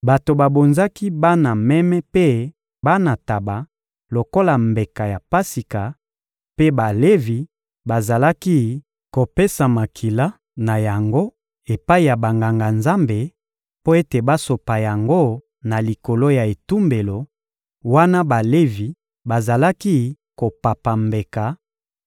Bato babonzaki bana meme mpe bana ntaba lokola mbeka ya Pasika, mpe Balevi bazalaki kopesa makila na yango epai ya Banganga-Nzambe mpo ete basopa yango na likolo ya etumbelo, wana Balevi bazalaki kopapa mbeka